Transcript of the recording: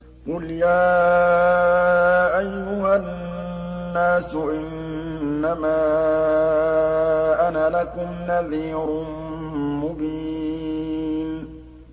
قُلْ يَا أَيُّهَا النَّاسُ إِنَّمَا أَنَا لَكُمْ نَذِيرٌ مُّبِينٌ